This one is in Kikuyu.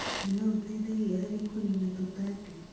na no iteithagia harĩ kũnina tũtambi.